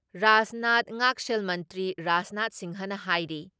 ꯔꯥꯖꯅꯥꯊ ꯉꯥꯛꯁꯦꯜ ꯃꯟꯇ꯭ꯔꯤ ꯔꯥꯖꯅꯥꯊ ꯁꯤꯡꯍꯅ ꯍꯥꯏꯔꯤ